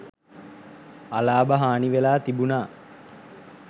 අලාභ හානි වෙලා තිබුණා.